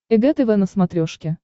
эг тв на смотрешке